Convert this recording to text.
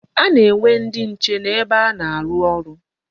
A na-enwe ndị nche n'ebe a na-aru oru..